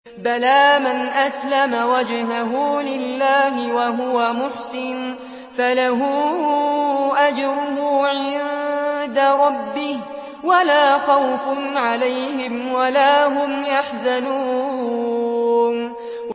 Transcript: بَلَىٰ مَنْ أَسْلَمَ وَجْهَهُ لِلَّهِ وَهُوَ مُحْسِنٌ فَلَهُ أَجْرُهُ عِندَ رَبِّهِ وَلَا خَوْفٌ عَلَيْهِمْ وَلَا هُمْ يَحْزَنُونَ